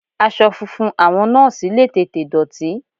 Aṣọ funfun àwọn Nọ́ọ́sì le tètè dọ̀tí.